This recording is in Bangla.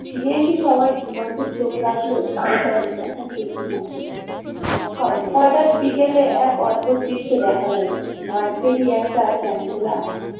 ফিরে এসে সবাই দিগন্তে চোখ রাখল হটাৎ বিকালে এক অদ্ভুত দৃশ্য দেখা গেল মাঠ পেরিয়ে একটা চ্যাংদোলা আসছে।